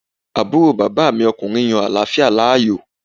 Àbúrò bàbá mi ọkùnrin yan àláfíà láàyò